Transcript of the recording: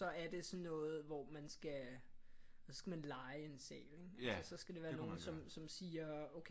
Så er det sådan noget hvor man skal så skal man leje en sal så skal der være nogen som siger okay